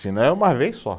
Se não é uma vez só.